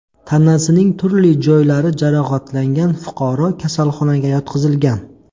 Tanasining turli joylari jarohatlangan fuqaro kasalxonaga yotqizilgan.